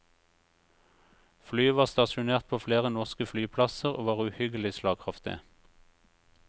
Flyet var stasjonert på flere norske flyplasser og var uhyggelig slagkraftig.